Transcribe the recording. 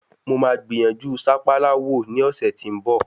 Mo máa gbìyànjú sápálá wò ní ọ̀sẹ̀ tí ń bọ̀.